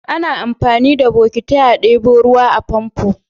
Ana amfani da bokitai a ɗebo ruwa a famfo.